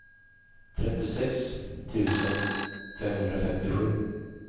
trettiosex tusen femhundrafemtiosju